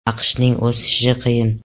AQShning o‘sishi qiyin.